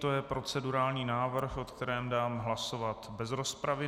To je procedurální návrh, o kterém dám hlasovat bez rozpravy.